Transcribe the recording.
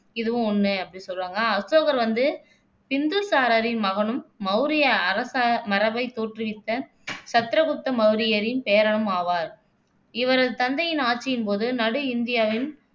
இதுவும் ஒண்ணு அப்படின்னு சொல்றாங்க அசோகர்வந்து பிந்துசாரரின் மகனும், மௌரிய அரச மரபைத் தோற்றுவித்த சந்திரகுப்த மௌரியரின் பேரனும் ஆவார். இவரது தந்தையின் ஆட்சியின் போது நடு இந்தியாவின்